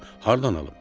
Xoruzu hardan alım?